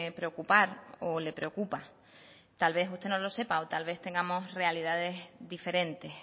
preocupar o le preocupa tal vez usted no lo sepa o tal vez tengamos realidades diferentes